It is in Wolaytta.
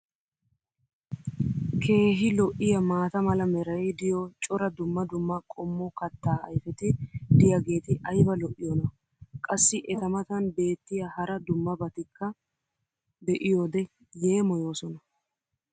keehi lo'iyaa maata mala meray diyo cora dumma dumma qommo kataa ayfeti diyaageti ayba lo'iyoonaa? qassi eta matan beetiya hara dumma dummabatikka be'iyoode yeemmoyoosona.